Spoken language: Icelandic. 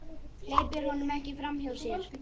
Hleypir honum ekki framhjá sér.